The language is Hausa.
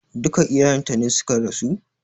Duka iyayen ta ne suka rasu?